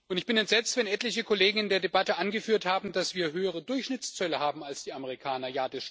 Ich bin entsetzt, wenn etliche Kollegen in der Debatte angeführt haben, dass wir höhere Durchschnittszölle haben als die Amerikaner.